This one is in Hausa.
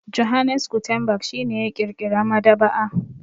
Johannes Gutenberg shi ne ya ƙirƙira maɗaba'a.